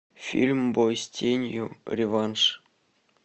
фильм бой с тенью реванш